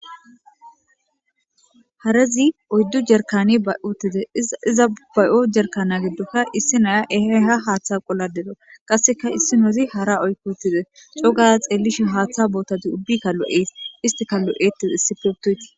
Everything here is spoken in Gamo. harezi oyddu jerkani ba'i utide iza bay7o jerkana giddokka issi naya eheha haaththa qolladero qasseka issi nozi hara oykko uttize coga xeellishe haaththa bootadi ubbika lo7es istika lo7ettes issipeptoyti